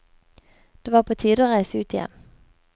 Det var på tide å reise ut igjen.